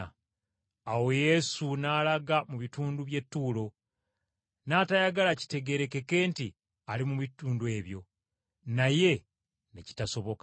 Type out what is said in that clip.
Awo Yesu n’alaga mu bitundu by’e Ttuulo, n’atayagala kitegeerekeke nti ali mu bitundu ebyo, naye ne kitasoboka.